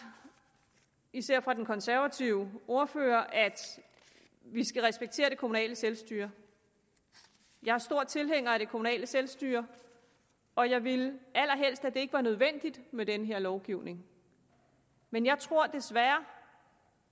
især af den konservative ordfører at vi skal respektere det kommunale selvstyre jeg er stor tilhænger af det kommunale selvstyre og jeg ville allerhelst at det ikke var nødvendigt med den her lovgivning men jeg tror desværre